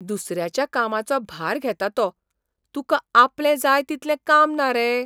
दुसऱ्याच्या कामाचो भार घेता तो, तुका आपलें जाय तितलें काम ना रे?